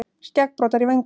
Skeggbroddar í vöngunum.